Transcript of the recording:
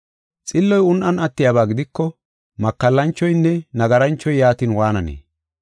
Xilloy un7an attiyaba gidiko, makallanchoynne nagaranchoy yaatin waananee?